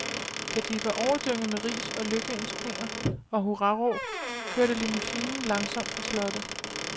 Da de var overdynget med ris og lykønskninger og hurraråb, kørte limousinen langsomt fra slottet.